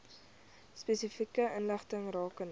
spesifieke inligting rakende